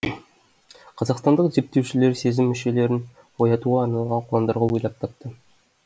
қазақстандық зерттеушілер сезім мүшелерін оятуға арналған қондырғы ойлап тапты